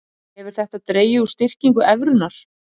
Hefur þetta dregið úr styrkingu evrunnar